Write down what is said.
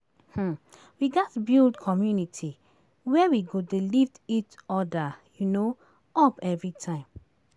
um We gats build community where we go dey lift each other um up every time.